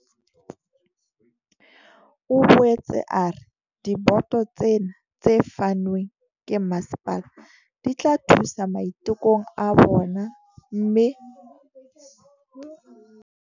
O boetse a re diboto tsena tse fanweng ke masepala di tla thusa maitekong a bona mme ke bana ba bangata ho feta ba tla kgona ho nka karolo lenaneong lena.